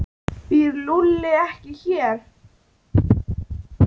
Býr Lúlli ekki hér?